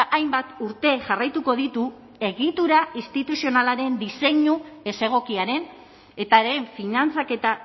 hainbat urte jarraituko ditu egitura instituzionalaren diseinu ez egokiaren eta haren finantzaketa